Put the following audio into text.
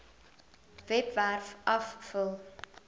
webwerf af vul